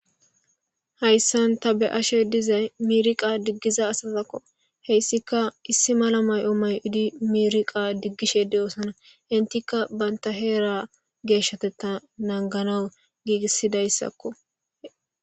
Haysan ta be'ashe dizay miriqa digishe diza asazako hesika issi mala mayo mayid miriqa digishe de'osona. Entiaka banta heera geshatetha naniganawu giigisidaysako.